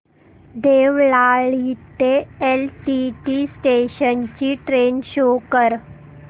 देवळाली ते LTT station ची train show कर